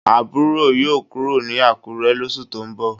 Aburo yoo kuro ni Akure losu to n bo